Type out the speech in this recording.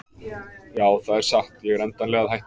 Já það er satt ég er endanlega að hætta.